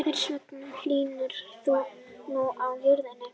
Hvers vegna hlýnar nú á jörðinni?